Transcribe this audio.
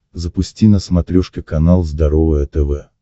запусти на смотрешке канал здоровое тв